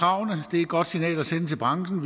er et godt signal at sende til branchen